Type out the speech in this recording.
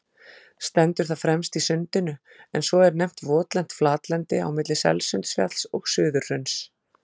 Stendur það fremst í Sundinu, en svo er nefnt votlent flatlendi milli Selsundsfjalls og Suðurhrauns.